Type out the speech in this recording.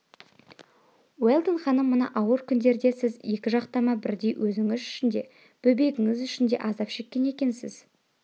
уэлдон ханым мына ауыр күндерде сіз екі жақтама бірдей өзіңіз үшін де бөбегіңіз үшін де азап шеккен екенсіз